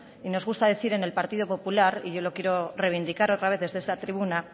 y nos gusta decir en el partido popular y yo lo quiero reivindicar otra vez desde esta tribuna